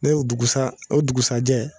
Ne ye o dugusa o dugusajɛ